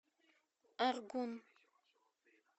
аргун